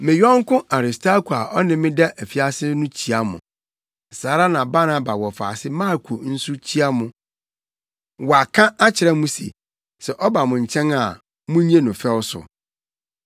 Me yɔnko Aristarko a ɔne me da afiase no kyia mo. Saa ara na Barnaba wɔfaase Marko nso kyia mo. Wɔaka akyerɛ mo se sɛ ɔba mo nkyɛn a munnye no fɛw so.